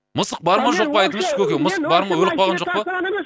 мысық бар ма жоқ па айтыңызшы көке мысық бар ма өліп қалған жоқ па